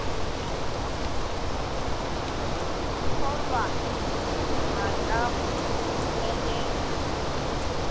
kgolwa ga ka go felela